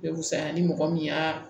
Be fisaya ni mɔgɔ min y'a